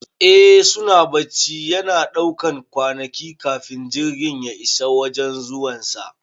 Eh suna bacci, yana ɗaukan kwanaki kafin jirgin ya isa wajan zuwan sa